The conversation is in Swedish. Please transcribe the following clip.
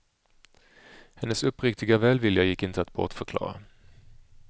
Hennes uppriktiga välvilja gick inte att bortförklara.